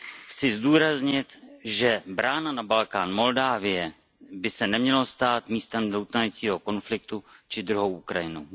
Chci zdůraznit, že brána na Balkán Moldavsko by se neměla stát místem doutnajícího konfliktu či druhou Ukrajinou.